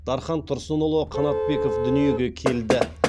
дархан тұрсынұлы қанатбеков дүниеге келді